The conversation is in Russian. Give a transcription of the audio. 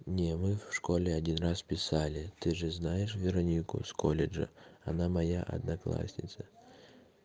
нет мы в школе один раз писали ты же знаешь веронику с колледжа она моя одноклассница